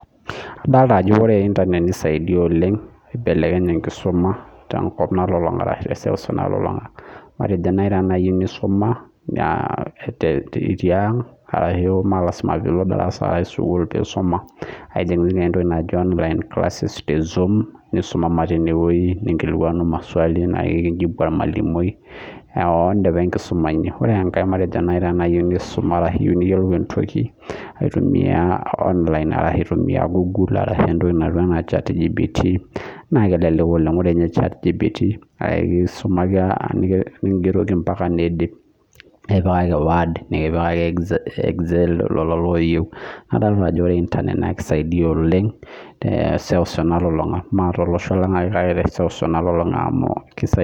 Adolita Ajo ore internet nisaidia oleng aibelekeny enkisuma tee seuseu nalulung'a matejo teniyieu nisuma tiang melasima pee elo darasa edim atijinga online classes nisuma ninkilikunua maswali nikijibu ormalimui oo dipa enkisuma eno ore enkae naa teniyieu niyiolou entoki eyimu online naa kelelek adolita Ajo ore internet nakidaidia oleng mee tolosho lang ake kake teseuseu nalulung'a